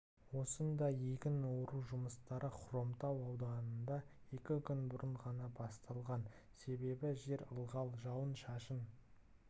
осындай егін ору жұмыстары хромтау ауданында екі күн бұрын ғана басталған себебі жер ылғал жауын-шашын